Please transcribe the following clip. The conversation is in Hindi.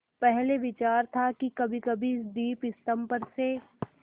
पहले विचार था कि कभीकभी इस दीपस्तंभ पर से